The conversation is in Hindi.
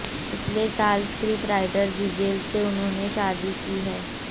पिछले साल स्क्रिप्ट राइटर जिजेल से उन्होंने शादी की है